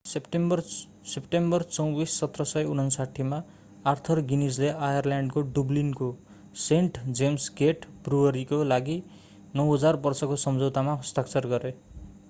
September 24 1759 मा Arthur गिनीजले आयरल्याण्डको डुब्लिनको सेण्ट जेम्स गेट ब्रुअरीका लागि 9,000 वर्षको सम्झौतामा हस्ताक्षर गरे